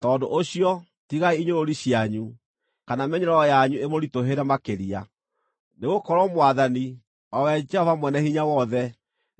Tondũ ũcio, tigai inyũrũri cianyu, kana mĩnyororo yanyu ĩmũritũhĩre makĩria; nĩgũkorwo Mwathani, o we Jehova Mwene-Hinya-Wothe,